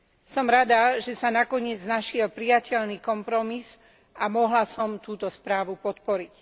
Som rada, že sa nakoniec našiel prijateľný kompromis a mohla som túto správu podporiť.